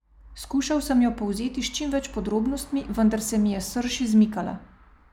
Skušal sem jo povzeti s čim več podrobnostmi, vendar se mi je srž izmikala.